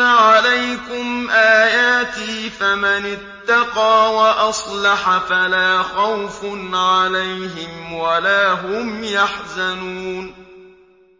عَلَيْكُمْ آيَاتِي ۙ فَمَنِ اتَّقَىٰ وَأَصْلَحَ فَلَا خَوْفٌ عَلَيْهِمْ وَلَا هُمْ يَحْزَنُونَ